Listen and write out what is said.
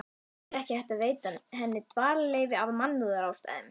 En er ekki hægt að veita henni dvalarleyfi af mannúðarástæðum?